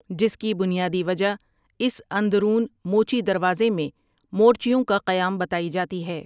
جس کی بنیادی وجہ اس اندرون موچی دروازے میں ٴمورچیوںٴ کا قیام بتائی جاتی ہے ۔